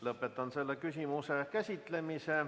Lõpetan selle küsimuse käsitlemise.